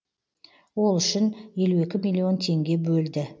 ол үшін елу екі миллион теңге бөлді